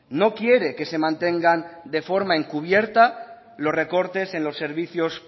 no quiere que se mantengan de forma encubierta los recortes en los servicios